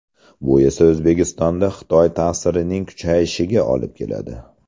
Bu esa O‘zbekistonda Xitoy ta’sirining kuchayishiga olib keladi.